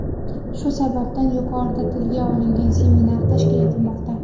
Shu sababdan, yuqorida tilga olingan seminarlar tashkil etilmoqda.